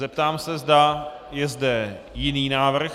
Zeptám se, zda je zde jiný návrh.